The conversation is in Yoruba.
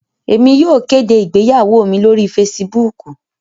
Emi yóò kede igbeyawo mi lori Fèsìbúukù